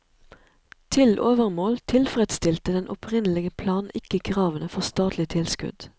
Til overmål tilfredsstilte den opprinnelige plan ikke kravene for statlig tilskudd.